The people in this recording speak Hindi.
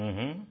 हूँ हूँ